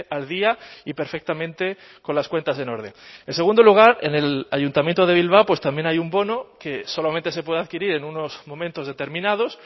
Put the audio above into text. al día y perfectamente con las cuentas en orden en segundo lugar en el ayuntamiento de bilbao pues también hay un bono que solamente se puede adquirir en unos momentos determinados